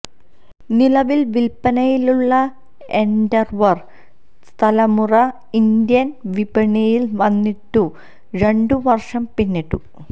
നിലവില് വില്പനയിലുള്ള എന്ഡവര് തലമുറ ഇന്ത്യന് വിപണിയില് വന്നിട്ടു രണ്ടു വര്ഷം പിന്നിടുന്നു